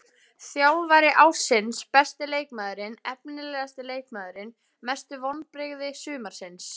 Þjálfari ársins Besti leikmaðurinn Efnilegasti leikmaðurinn Mestu vonbrigði sumarsins?